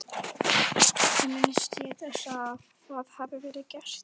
Ekki minnist ég þess að það hafi verið gert.